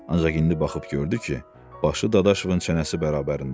Ancaq indi baxıb gördü ki, başı Dadaşovun çənəsi bərabərindədir.